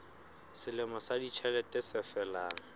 selemo sa ditjhelete se felang